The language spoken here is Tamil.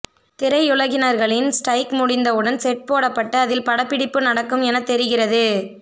திரையுலகினர்களின் ஸ்டிரைக் முடிந்தவுடன் செட் போடப்பட்டு அதில் படப்பிடிப்பு நடக்கும் என தெரிகிறது